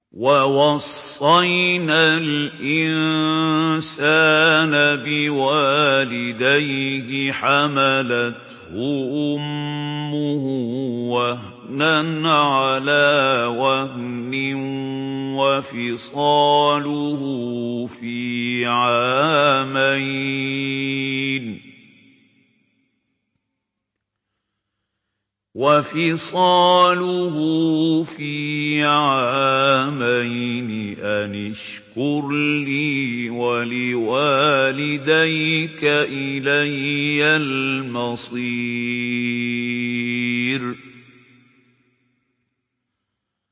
وَوَصَّيْنَا الْإِنسَانَ بِوَالِدَيْهِ حَمَلَتْهُ أُمُّهُ وَهْنًا عَلَىٰ وَهْنٍ وَفِصَالُهُ فِي عَامَيْنِ أَنِ اشْكُرْ لِي وَلِوَالِدَيْكَ إِلَيَّ الْمَصِيرُ